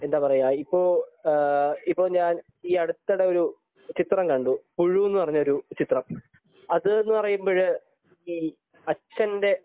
ഇപ്പൊ ഇപ്പൊ ഞാൻ ഈയടുത്തിടെ ഒരു ചിത്രം കണ്ടു. പുഴു എന്ന് പറയുന്നൊരു ചിത്രം അത് എന്ന് പറയുന്നത് ഈ അച്ഛന്റെ